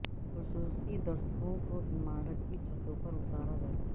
خصوصی دستوں کو عمارت کی چھت پر اتارا گیا